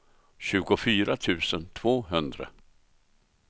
tjugofyra tusen tvåhundra